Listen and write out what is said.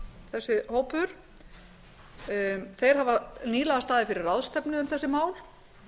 þessi hópur þeir hafa nýlega staðið fyrir ráðstefnu um þessi mál